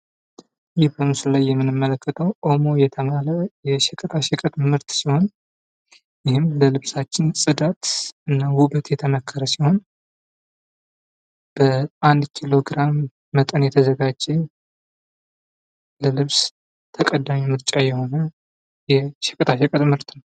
ይህ በምስሉ ላይ የምንመለከተው ኦሞ የተባለ የሸቀጣሸቀጥ ምርት ሲሆን፣ ይህም ለልብሳችን ውበትና ጽዳት የተመከረ ሲሆን፤ በአንድ ኪሎግራም የተዘጋጀ ለልብስ ተቀዳሚ ምርጫ የሆነ የሸቀጣሸቀጥ ምርት ነው።